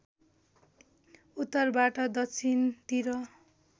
उत्तरबाट दक्षिणतिर